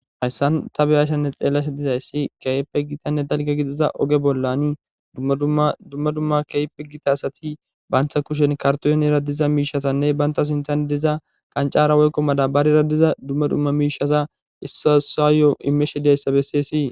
Haysan byashe xelashe dizays kehipe gitanne dalga gidiza oge bollan dumma dumma kehipe gita asati banta kushen kartonera diza mishazanne banta qancara woyko madabarera diza dumma dumma mishaza issoy issuwayo dizaysa beses